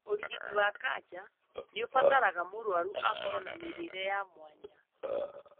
ũrigiti wa kanja nĩ ũbataraga mũrwaru akorwo na mĩrĩĩre ya mwanya.